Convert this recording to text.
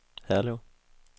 Herlev